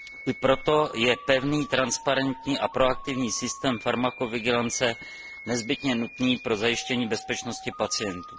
I proto je pevný, transparentní a proaktivní systém farmakovigilance nezbytně nutný pro zajištění bezpečnosti pacientů.